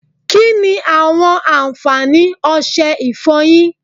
Kínni àwọn àǹfààní ọsẹ ìfọyín?